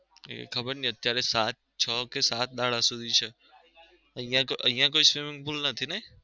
એ ખબર નઈ અત્યરે સાત છ કે સાત દાડા સુધી છે અહીંયા કોઈ અહીંયા કોઈ swimming pool નથી નઈ